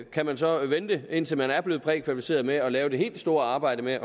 kan man så vente indtil man er blevet prækvalificeret med at lave det helt store arbejde med